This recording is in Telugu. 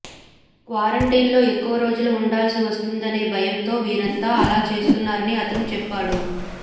క్వారంటైన్లో ఎక్కువ రోజులు ఉండాల్సి వస్తుందనే భయంతోనే వీరంతా అలా చేస్తున్నారని అతను చెప్పాడు